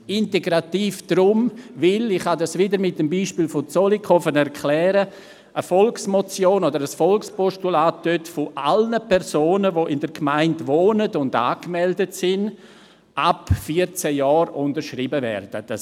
Integrativ ist es deshalb, weil eine Volksmotion oder ein Volkspostulat zum Beispiel in der Gemeinde Zollikofen von allen Personen ab 14 Jahren, die in der Gemeinde wohnen und angemeldet sind, unterschrieben werden kann.